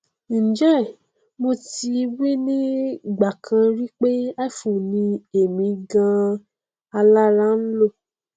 njẹ mo ti wí ní ìgbàkan rí pé iphone ni èmi ganan alára ń lò